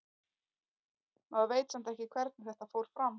Maður veit samt ekki hvernig þetta fór fram.